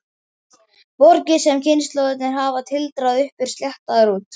Borgir sem kynslóðirnar hafa tildrað upp eru sléttaðar út.